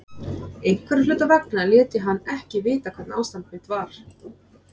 Einhverra hluta vegna lét ég hann ekki vita hvernig ástand mitt var.